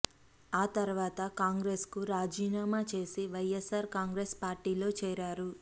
ఆ తర్వాత కాంగ్రెస్కు రాజీనామా చేసి వైఎస్సార్ కాంగ్రెస్ పార్టీలో చేరారు